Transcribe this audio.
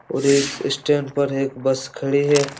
और इस स्टेन पर एक बस खड़ी हैं।